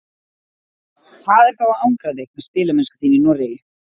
Hvað er þá að angra þig með spilamennsku þína í Noregi?